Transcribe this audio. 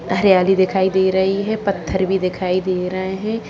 हरियाली दिखाई दे रही है पत्थर भी दिखाई दे रहे हैं |